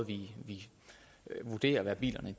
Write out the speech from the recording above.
vi vurderer hvad bilerne